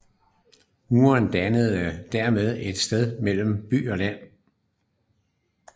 Muren dannede dermed et skel mellem by og land